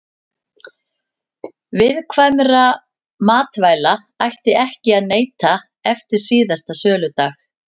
Viðkvæmra matvæla ætti ekki að neyta eftir síðasta söludag.